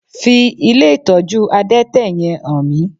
Fi ilé ìtọ́jú adẹ́tẹ̀ yẹn hàn mí!